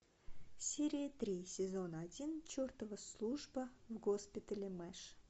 серия три сезона один чертова служба в госпитале мэш